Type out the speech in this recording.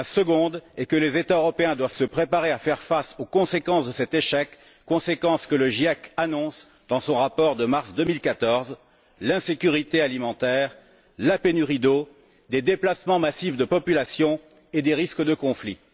Deuxièmement, les États européens doivent se préparer à faire face aux conséquences de cet échec, que le GIEC annonce dans son rapport de mars 2014 l'insécurité alimentaire, la pénurie d'eau, des déplacements massifs de population et des risques de conflits.